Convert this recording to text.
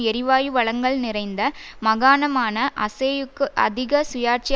எரிவாயு வளங்கள் நிறைந்த மகாணமான அசேயுக்கு அதிக சுயாட்சி